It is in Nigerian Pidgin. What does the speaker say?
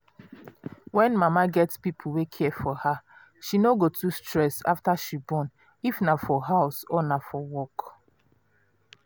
when mama get people wey care for her she no go too stress after she bornif na for house or na for work.